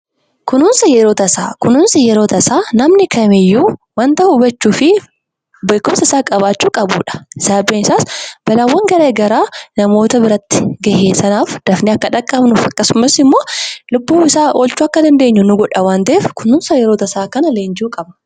kunuunsa yeoo tasaa, kunuunsi yeroo tasaa namni kamiyyuu hubachuu fi beekumsa isaa qabaachuu qabudha. Sababni isaas rakkoo nama muudateef dafnee akka dhaqqabnuu fi akkasumas lubbuu isaa akka baraarru nu godha waan ta'eef kunuunsa yeroo tasaa kana barachuun barbaachisaadha.